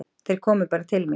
Þeir komu bara til mín.